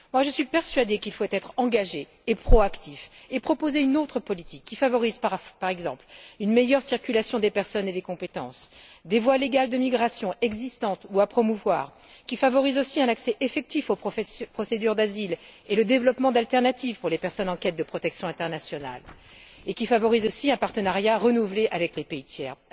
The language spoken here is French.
Je suis persuadée qu'il faut être engagé et proactif, et proposer une autre politique qui favorise, par exemple, une meilleure circulation des personnes et des compétences, des voies légales de migration existantes ou à promouvoir, qui favorise aussi un accès effectif aux procédures d'asile et le développement d'alternatives pour les personnes en quête de protection internationale, et qui favorise également un partenariat renouvelé avec les pays tiers.